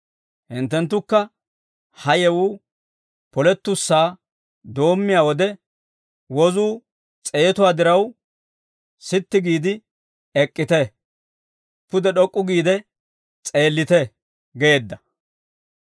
Hinttenttukka, ha yewuu polettussaa doommiyaa wode, wozuu s'eetuwaa diraw sitti giide ek'k'ite; pude d'ok'k'u giide s'eellite» geedda.